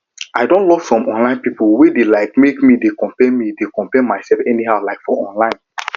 i don lock some online people wey dey um make me dey compare me dey compare myself anyhow um for online